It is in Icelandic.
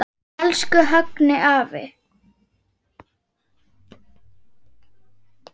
Elsku Högni afi.